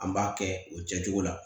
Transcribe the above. An b'a kɛ o kɛcogo la